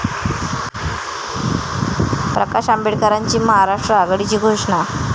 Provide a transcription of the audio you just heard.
प्रकाश आंबेडकरांची महाराष्ट्र आघाडीची घोषणा